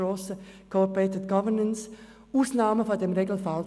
Dies entspricht auch den Vorgaben der Corporate Governance.